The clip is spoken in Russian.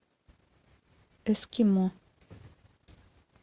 эскимо